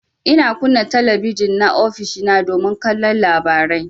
Ina kunna talabijin na ofishina domin kallon labarai.